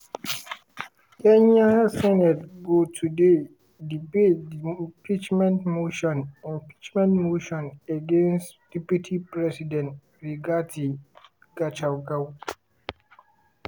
kenya senate go today debate di impeachment motion impeachment motion against deputy president rigathi gachagua.